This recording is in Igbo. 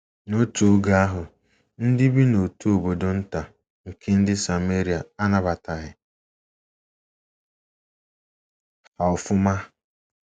N’otu oge,, ndị bi n’otu obodo nta nke ndị Sameria anabataghị ha ofụma.